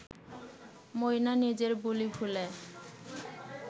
ময়না নিজের বুলি ভুলে